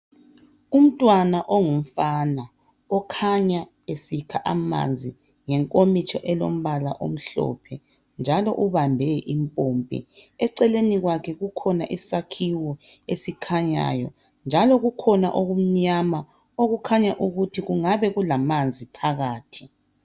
Umntwana ongumfana okhanya esikha amanzi ngenkomitsho elombala omhlophe njalo ubambe impompi. Eceleni kwakhe kukhona isakhiwo esikhanyayo njalo kukhona okumnyama okukhanya ukuthi kungabe kulamanzi phakathi.